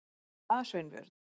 Er eitthvað að, Sveinbjörn?